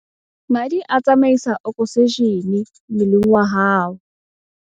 Madi a tsamaisa okosejene mmeleng wa hao.